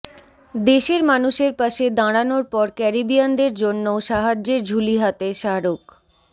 দেশের মানুষের পাশে দাঁড়ানোর পর ক্যারিবিয়ানদের জন্যও সাহায্যের ঝুলি হাতে শাহরুখ